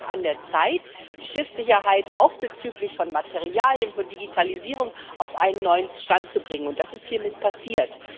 Es war einfach an der Zeit, die Schiffssicherheit auch bezüglich Materialien und Digitalisierung auf einen neuen Stand zu bringen, und das ist hiermit passiert.